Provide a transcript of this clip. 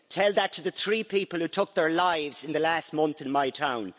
Tell that to the three people who took their lives in the last month in my town.